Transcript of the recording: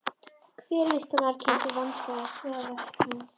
Hver listamaður kynntur vandlega, svo og verk hans.